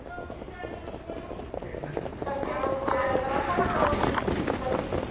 Einar Má.